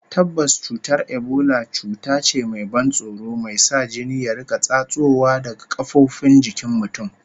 Tabbas, cutar Ebola cuta ce mai ban tsoro, mai sa jini ya riƙa tsatsowa daga kafofin jikin mutum